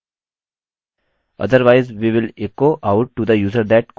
otherwise we will echo out to the user that cookie is not set